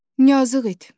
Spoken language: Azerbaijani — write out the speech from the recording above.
Yazıqdı.